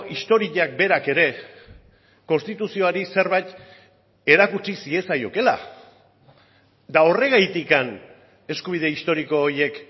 historiak berak ere konstituzioari zerbait erakutsi ziezaiokeela eta horregatik eskubide historiko horiek